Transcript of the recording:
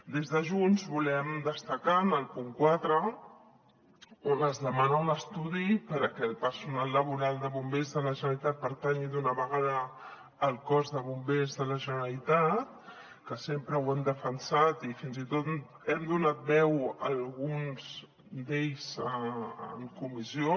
des de junts volem destacar el punt quatre on es demana un estudi perquè el personal laboral de bombers de la generalitat pertanyi d’una vegada al cos de bombers de la generalitat que sempre ho hem defensat i fins i tot hem donat veu a alguns d’ells en comissió